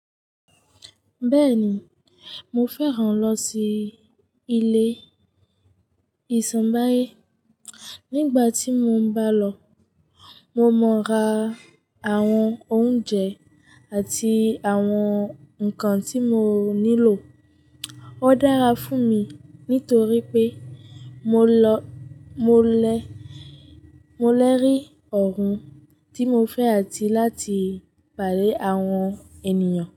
Bẹ́ẹ̀ni, mo fẹ́ràn lọ sí ilé ìsàmbáyé. Nígbà tí mo ń bá lọ, mo mọ ra àwọn oúnjẹ àti àwọn nǹkan tí mo nílò. Ó dára fún mi nítorí pé mo lọ, mo lẹ, mo lẹ́ rí ohùn tí mo fẹ́ àti láti pàdé àwọn ènìyàn.